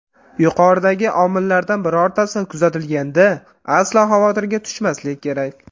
Yuqoridagi omillardan birortasi kuzatilganda, aslo xavotirga tushmaslik kerak.